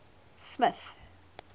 smith